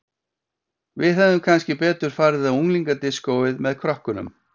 Við hefðum kannski betur farið á unglingadiskóið með krökkunum